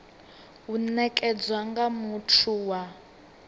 u nekedzwa nga muthu wa